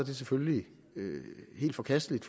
selvfølgelig er helt forkasteligt